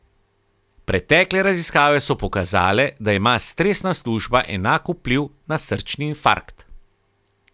Pretekle raziskave so pokazale, da ima stresna služba enak vpliv na srčni infarkt.